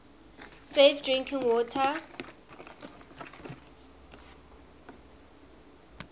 safe drinking water